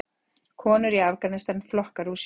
Konur í Afganistan að flokka rúsínur.